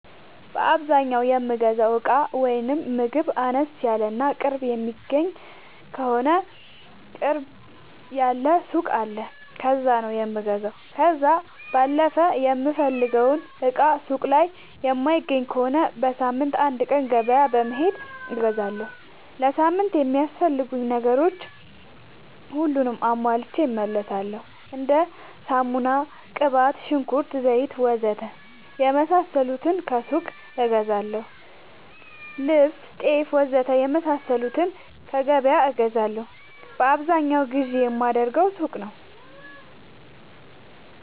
በአዛኛው የምገዛው እቃ ወይም ምግብ አነስ ያለ እና ቅርብ የሚገኝ ከሆነ ቅርብ ያለ ሱቅ አለ ከዛ ነው የምገዛው። ከዛ ባለፈ የምፈልገውን እቃ ሱቅ ላይ የማይገኝ ከሆነ በሳምንት አንድ ቀን ገበያ በመሄድ እገዛለሁ። ለሳምንት የሚያስፈልጉኝ ነገሮች ሁሉንም አሟልቼ እመለሣለሁ። እንደ ሳሙና፣ ቅባት፣ ሽንኩርት፣ ዘይት,,,,,,,,, ወዘተ የመሣሠሉትን ከሱቅ እገዛለሁ። ልብስ፣ ጤፍ,,,,,,,,, ወዘተ የመሣሠሉትን ከገበያ እገዛለሁ። በአብዛኛው ግዢ የማደርገው ሱቅ ነው።